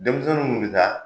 Denmisɛnw nunnu bi taa